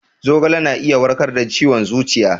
Zogale na iya warkar da ciwon zuciya